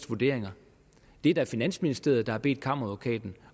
vurderinger det er finansministeriet der har bedt kammeradvokaten